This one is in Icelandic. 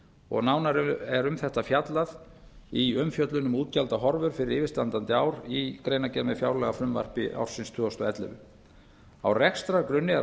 og nánar er um þetta fjallað í umfjöllun um útgjaldahorfur fyrir yfirstandandi ár í greinargerð með fjárlagafrumvarpi ársins tvö þúsund og ellefu á rekstrargrunni er áætlað